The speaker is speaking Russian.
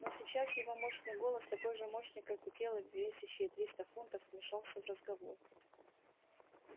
но сейчас его мощный голос такой же мощный как и тело весящее триста фунтов вмешался в разговор